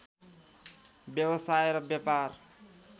व्यावसाय र व्यापार